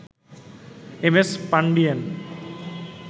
M S Pandian